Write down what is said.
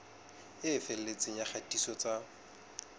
e felletseng ya kgatiso tsa